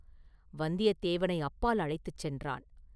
வந்தியத்தேவனை அப்பால் அழைத்துச் சென்றான்.